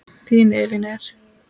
Þín Elín Eir.